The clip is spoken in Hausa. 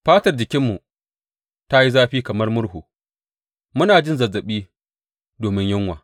Fatar jikinmu ta yi zafi kamar murhu, muna jin zazzaɓi domin yunwa.